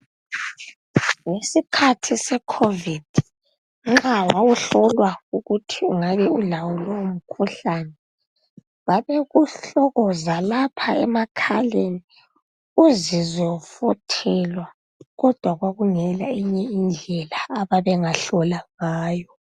Ngesikhathi sekhovidi, nxa wawuhlolwa ukuthi ungabe ulawo lowo mkhuhlane, babekuhlokoza lapha emakhaleni uzizwe ufuthelwa, kodwa kwakungela eyinye indlela ababengahlola ngayo.